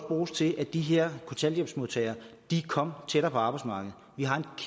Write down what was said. bruges til at de her kontanthjælpsmodtagere kom tættere på arbejdsmarkedet vi har en